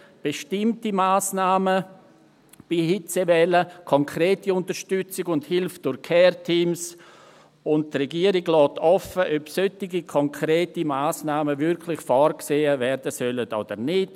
Er fordert bestimmte Massnahmen bei Hitzewellen, konkrete Unterstützung und Hilfe durch Care-Teams, und die Regierung lässt offen, ob solche konkreten Massnahmen wirklich vorgesehen werden sollen oder nicht.